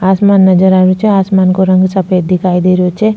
आसमान नजर आ रियो छे आसमान को रंग सफ़ेद दिखाई दे रियो छे।